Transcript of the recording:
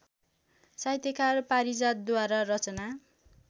साहित्यकार पारिजातद्वारा रचना